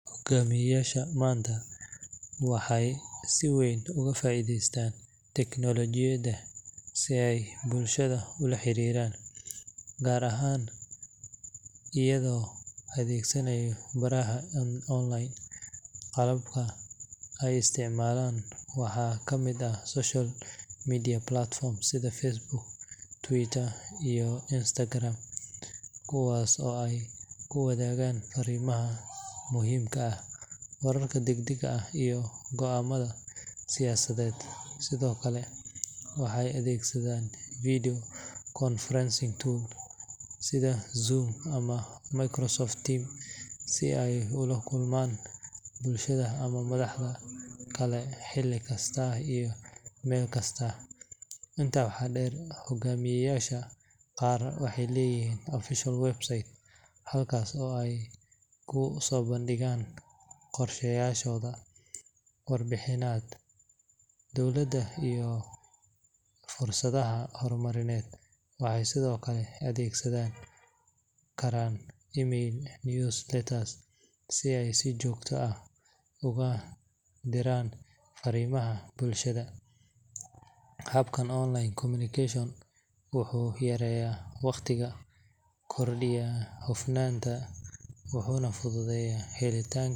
Hugaamiyayaasha manta waxey si weyn ugafaaidheystaan teknolojiyada si ey bulshada ulaxiriiran gaar ahaan iyaga oo adheegsanayo baraha online qalabka ey isticmalaan waxaa kamid ah social media platform sida Facebook Twitter iyo Instagram kuwaas oo ey kiwadhagaan farimaha muhiimka ah, wararka dagdaga ah iyo goaamadha siyasaded. Sidhookale waxey adegsadan video conferencing tool sidha zoom ama Microsoft team sida ey ulakulma bulshada ama madhahda kale xili kasta iyo meel kasta. Intaa waxaa deer hugaamiyayaasha qaar waxey leyihiin official website halkaas oo ey kusobandigaan qorsha yaashoda, warbixinad dowlada iyo fursadhaha hormarineed. Waxey sidhookale adheegsani karaan email news letters si ey sijoogta ah uga diraan farimaha bulshada. Qabka online communication wuxu yareeya waqtiga kordiya hufnaanta wuxuna fudhudheeya helitaanka...